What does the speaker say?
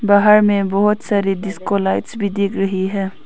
बाहर में बहुत सारे डिस्को लाइट्स भी दिख रही है।